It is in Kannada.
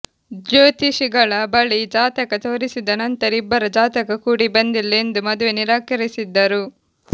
ಜ್ಯೋತಿಷಿಗಳ ಬಳಿ ಜಾತಕ ತೋರಿಸಿದ ನಂತರ ಇಬ್ಬರ ಜಾತಕ ಕೂಡಿಬಂದಿಲ್ಲ ಎಂದು ಮದುವೆ ನಿರಾಕರಿಸಿದ್ದರು